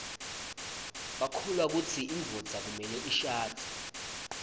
bakholwakutsi induodza kufaneleishadze